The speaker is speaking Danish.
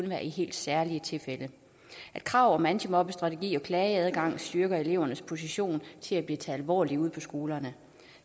være i helt særlige tilfælde og at krav om antimobbestrategi og klageadgang styrker elevernes position til at blive taget alvorligt ude på skolerne